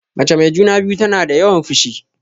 Mace mai juna-biyu tana da yawan fushi.